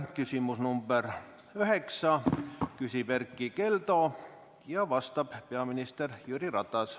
Küsimuse nr 9 esitab Erkki Keldo ja talle vastab peaminister Jüri Ratas.